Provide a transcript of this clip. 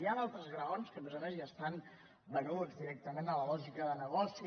hi ha altres graons que a més a més ja estan venuts di·rectament a la lògica del negoci